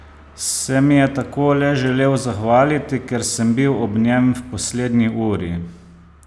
Se mi je tako le želel zahvaliti, ker sem bil ob njem v poslednji uri?